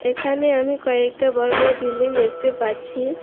এখানে আমি কয়েকটা বড় বড় বিল্ডিং দেখতে পাচ্ছি।